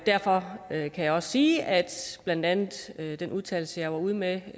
derfor kan jeg også sige at blandt andet den udtalelse jeg var ude med